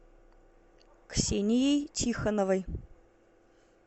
ксенией тихоновой